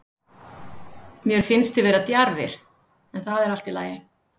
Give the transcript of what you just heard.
Mér finnst þið vera djarfir, en það er allt í lagi.